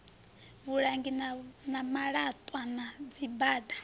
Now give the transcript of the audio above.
vhulangi ha malatwa na dzibada